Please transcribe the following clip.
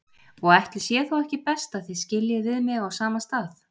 Og ætli sé þá ekki best að þið skiljið við mig á sama stað.